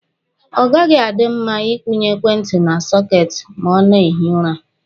Ọ gaghị adị mma Ị kwụnye ekwentị na sọketi ma a na-ehi ụra.